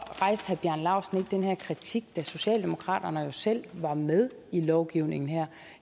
herre bjarne laustsen den her kritik da socialdemokraterne jo selv var med i lovgivningen